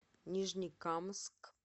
нижнекамск